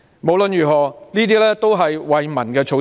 無論如何，這些都是惠民措施。